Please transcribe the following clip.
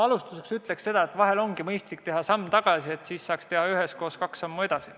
Alustuseks ütlen ma seda, et vahel on mõistlik teha samm tagasi, et saaks teha üheskoos kaks sammu edasi.